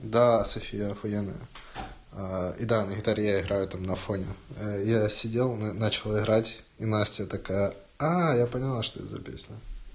да софия ахуенная и да на гитаре я играю там на фоне я сидел начал играть и настя такая а я поняла что это за песня